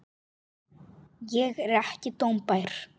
Ég er ekki dómbær.